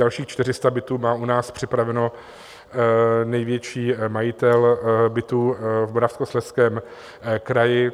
Dalších 400 bytů má u nás připraveno největší majitel bytů v Moravskoslezském kraji.